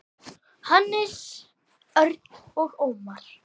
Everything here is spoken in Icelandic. Hannes, Örn og Ómar.